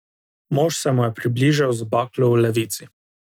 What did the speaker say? Mož se mu je približal z baklo v levici.